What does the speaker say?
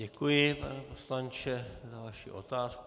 Děkuji, pane poslanče, za vaši otázku.